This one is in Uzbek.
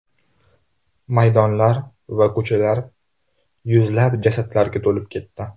Maydonlar va ko‘chalar yuzlab jasadlarga to‘lib ketdi.